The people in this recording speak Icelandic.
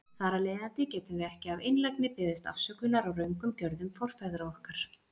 Þar af leiðandi getum við ekki af einlægni beðist afsökunar á röngum gjörðum forfeðra okkar.